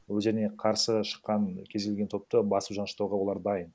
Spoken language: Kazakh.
өздеріне қарсы шыққан кез келген топты басып жаныштауға олар дайын